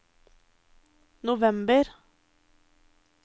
november